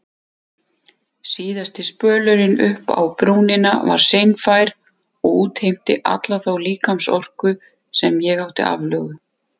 Síðasti spölurinn uppá brúnina var seinfær og útheimti alla þá líkamsorku sem ég átti aflögu.